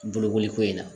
Bolokoli ko in na